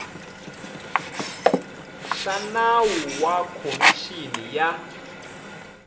xa nawu wa khomixini ya